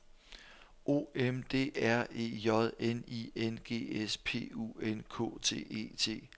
O M D R E J N I N G S P U N K T E T